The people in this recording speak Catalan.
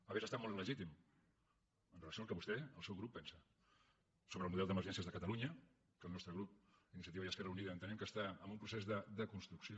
hauria estat molt legítim amb relació al que vostè el seu grup pensa sobre el model d’emergències de catalunya que el nostre grup iniciativa i esquerra unida entenem que està en un procés de desconstrucció